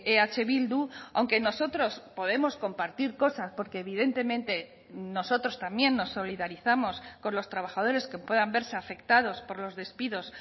eh bildu aunque nosotros podemos compartir cosas porque evidentemente nosotros también nos solidarizamos con los trabajadores que puedan verse afectados por los despidos